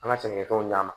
An ka sɛnɛkɛfɛnw ɲ'a ma